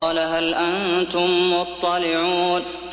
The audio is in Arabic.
قَالَ هَلْ أَنتُم مُّطَّلِعُونَ